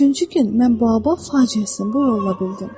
Üçüncü gün mən Baobab faciəsini bu yolla bildim.